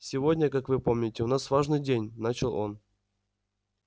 сегодня как вы помните у нас важный день начал он